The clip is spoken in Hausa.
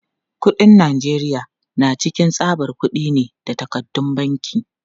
Kuɗin Najeriya na cikin tsabar kudi ne da takardun banki.